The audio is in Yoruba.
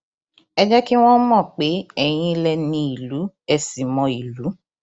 ẹ jẹ kí wọn mọ pé eyín lẹ ní ìlú ẹ ṣì mọ ìlú